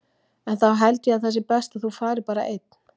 En þá held ég að sé best að þú farir bara einn!